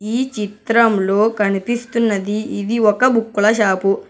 ఈ చిత్రంలో కనిపిస్తున్నది ఇది ఒక బుక్కుల షాపు .